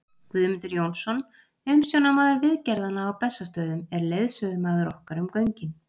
Guðmundur Jónsson, umsjónarmaður viðgerðanna á Bessastöðum, er leiðsögumaður okkar um göngin.